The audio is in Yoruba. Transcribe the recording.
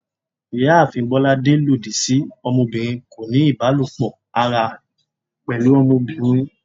Ìyáàfín bolàdé lọdi sí ọmọbirin koní ibalopọ ará pẹlu ọmọbirin